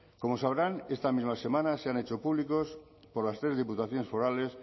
como sabrán esta misma semana se han hecho públicos por las tres diputaciones forales